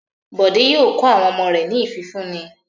Bọ̀dé yóò kọ́ àwọn ọmọ rẹ̀ ní ìfúnni.